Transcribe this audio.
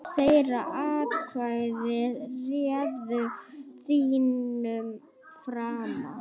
Þeirra atkvæði réðu þínum frama.